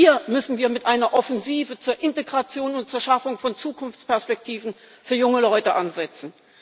Hier müssen wir mit einer Offensive zur Integration und zur Schaffung von Zukunftsperspektiven für junge Leute ansetzen.